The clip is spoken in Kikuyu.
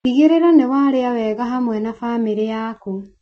Tigĩrĩra nĩ warĩa wega hamwe na bamĩrĩ yaku.